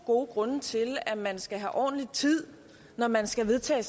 gode grunde til at man skal have ordentlig tid når man skal vedtage